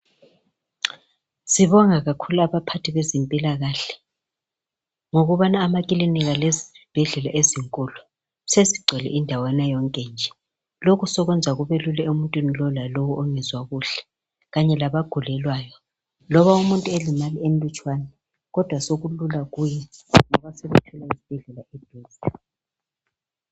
Sibonga kakhulu abaphathi bezimpilakahle ngokubana amaklinika lezibhedlela ezinkulu sezigcwele indawana yonke nje , lokhu sokwenza kube lula emuntwini wonke kulowo lalowo ongezwa kuhle kanye labagulelwayo loba umuntu elimele okulutshwana kodwa sokulula kuye ngoba sethola izibhedlela eduzane